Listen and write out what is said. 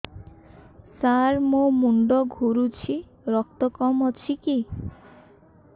ସାର ମୋର ମୁଣ୍ଡ ଘୁରୁଛି ରକ୍ତ କମ ଅଛି କି